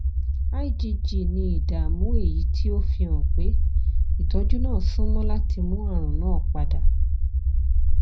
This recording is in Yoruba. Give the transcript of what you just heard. igg ni ìdààmú èyí tí ó fihàn pé ìtọ́jú náà súnmọ́ láti mú àrùn náà padà